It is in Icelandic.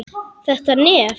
Þetta nef!